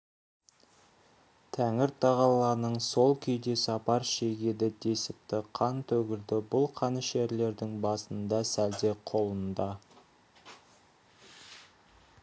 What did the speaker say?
тәңір-тағаланың сол күйде сапар шегеді десіпті қан төгілді бұл қанішерлердің басында сәлде қолында